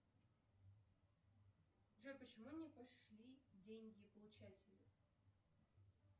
джой почему не пошли деньги получателю